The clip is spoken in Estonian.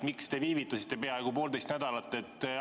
Miks te viivitasite vastusega peaaegu poolteist nädalat?